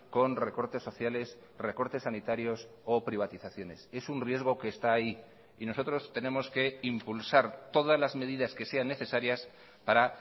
con recortes sociales recortes sanitarios o privatizaciones es un riesgo que está ahí y nosotros tenemos que impulsar todas las medidas que sean necesarias para